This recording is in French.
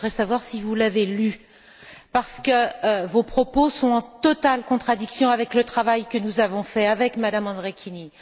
Je voudrais savoir si vous l'avez lu, parce que vos propos sont en totale contradiction avec le travail que nous avons fait avec Mme Andrikienė.